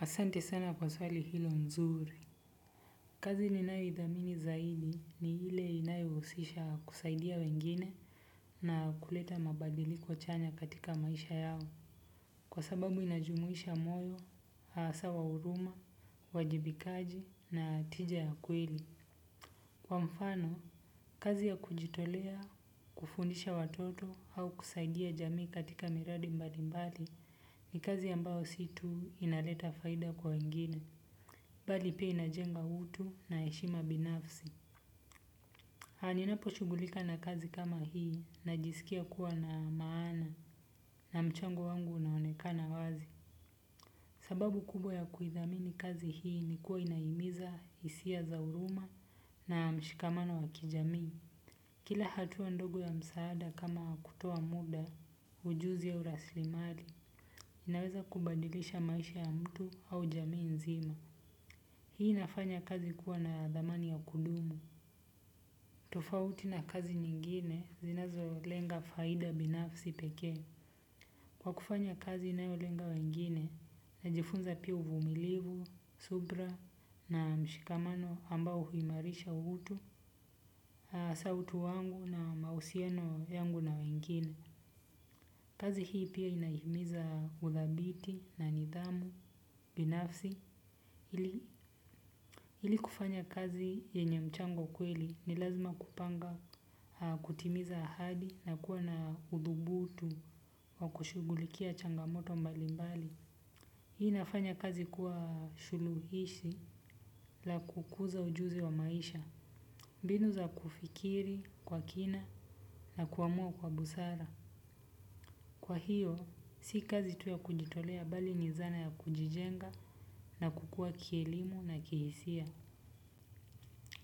Asante sana kwa swali hilo nzuri. Kazi ninayo idhamini zaidi ni ile inayo husisha kusaidia wengine na kuleta mabadiliko chanya katika maisha yao. Kwa sababu inajumuisha moyo, hasa wa huruma, uwajibikaji na tija ya kweli. Kwa mfano, kazi ya kujitolea, kufundisha watoto au kusaidia jamii katika miradi mbali mbali ni kazi ambayo si tu inaleta faida kwa wengine. Bali pei na jenga utu na heshima binafsi. A ninapo shugulika na kazi kama hii najisikia kuwa na maana na mchango wangu unaonekana wazi. Sababu kubwa ya kuhithamini kazi hii ni kuwa inaihimiza hisia za huruma na mshikamano wa kijami. Kila hatua ndogo ya msaada kama kutoa muda, ujuzi au raslimari, inaweza kubadilisha maisha ya mtu au jamii nzima. Hii inafanya kazi kuwa na dhamani ya kudumu. Tofauti na kazi nyingine zinazo lenga faida binafsi peke. Kwa kufanya kazi inayo lenga wengine, najifunza pia uvumilivu, subra na mshikamano ambao huimarisha uhutu, asa utu wangu na mausiano yangu na wengine. Kazi hii pia inaihimiza uthabiti na nidhamu, binafsi. Ili kufanya kazi yenye mchango kweli ni lazima kupanga kutimiza ahadi na kuwa na udhubutu wa kushugulikia changamoto mbali mbali. Hii nafanya kazi kuwa shuluhishi la kukuza ujuzi wa maisha. Binu za kufikiri kwa kina na kuamua kwa busara. Kwa hiyo, si kazi tu ya kujitolea bali ni zana ya kujijenga na kukua kielimu na kihisia.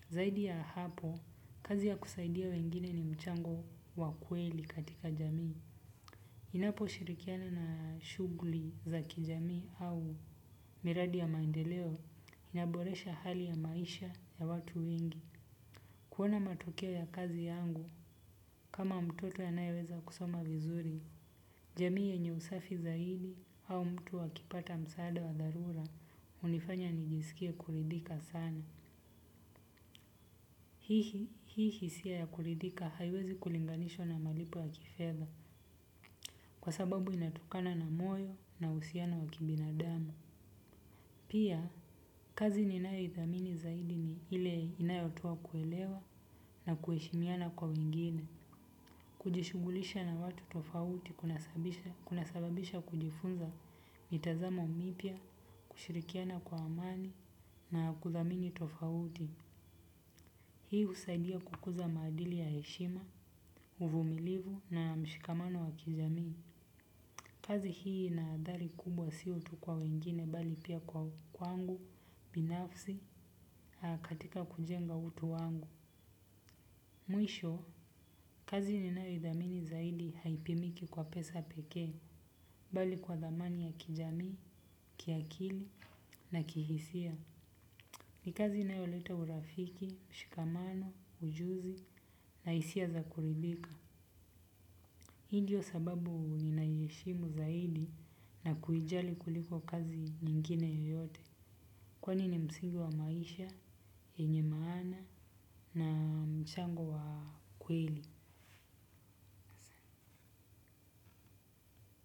Zaidi ya hapo, kazi ya kusaidia wengine ni mchango wa kueli katika jamii. Inapo shirikiana na shugli za kijamii au miradi ya maendeleo inaboresha hali ya maisha ya watu wengi. Kuona matokeo ya kazi yangu kama mtoto anaeweza kusoma vizuri. Jamii yenye usafi zaidi au mtu akipata msaada wa dharura hunifanya nijisikie kuridika sana. Hii hisia ya kuridhika haiwezi kulinganishwa na malipo ya kifedha kwa sababu inatukana na moyo na uhusiano wa kibinadamu. Pia, kazi ni nayo ithamini zaidi ni ile inayotoa kuelewa na kueshimiana kwa wengine. Kujishugulisha na watu tofauti kuna sababisha kujifunza mitazamo mipya, kushirikiana kwa amani na kuthamini tofauti. Hii husaidia kukuza madili ya heshima, uvumilivu na mshikamano wa kijamii. Kazi hii una adhari kubwa sio tu kwa wengine bali pia kwa kwangu, binafsi, hakatika kujenga utu wangu. Mwisho, kazi ni nayo idhamini zaidi haipimiki kwa pesa peke, bali kwa dhamani ya kijamii, kiakili na kihisia. Ni kazi inayo leta urafiki, mshikamano, ujuzi na hisia za kurithika. Hi ndio sababu ninahieshimu zaidi na kuijali kuliko kazi nyingine yoyote. Kwani ni msingi wa maisha, yenye maana na mchango wa kweli.